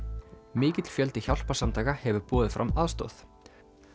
mikill fjöldi hjálparsamtaka hefur boðið fram aðstoð